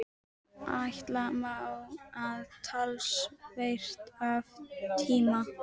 Ætla má, að talsvert af tíma